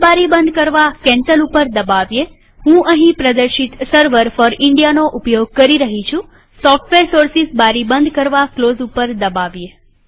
આ બારી બંધ કરવા કેન્સલ પર દબાવીએહું અહીં પ્રદર્શિત સર્વર ફોર ઇન્ડિયાનો ઉપયોગ કરી રહી છુંસોફ્ટવેર સોર્સીસ બારી બંધ કરવા ક્લોઝ દબાવીએ